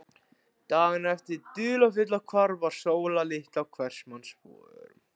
Dagana eftir hið dularfulla hvarf var Sóla litla á hvers manns vörum.